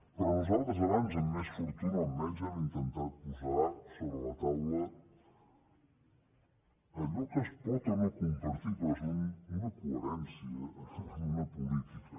però nosaltres abans amb més fortuna o amb menys hem intentat posar sobre la taula a llò que es pot o no compartir però és una coherència en una política